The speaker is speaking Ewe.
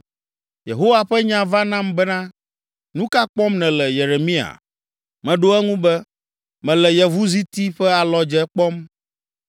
Yehowa ƒe nya va nam bena, “Nu ka kpɔm nèle, Yeremia?” Meɖo eŋu be, “Mele yevuziti ƒe alɔdze kpɔm.”